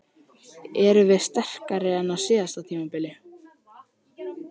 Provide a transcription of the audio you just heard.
Erum við sterkari en á síðasta tímabili?